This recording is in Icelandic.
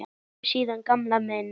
Við sjáumst síðar gamli minn.